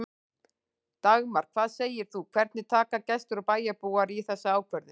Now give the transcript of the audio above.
Dagmar, hvað segir þú, hvernig taka gestir og bæjarbúar í þessa ákvörðun?